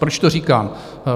Proč to říkám?